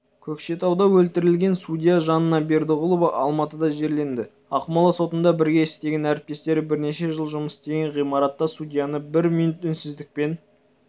көкшетауда өлтірілген судья жанна бердіғұлова алматыда жерленді ақмола сотында бірге істеген әріптестері бірнеше жыл жұмыс істеген ғимаратта судьяны бір минут үнсіздікпен